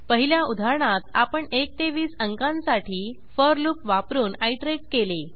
पहिल्या उदाहरणात आपण 1 ते 20 अंकांसाठी फोर लूप वापरून आयटरेट केले